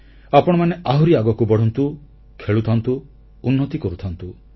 ଆପଣମାନେ ଆହୁରି ଆଗକୁ ବଢ଼ନ୍ତୁ ଖେଳୁଥାନ୍ତୁ ଉନ୍ନତି କରୁଥାନ୍ତୁ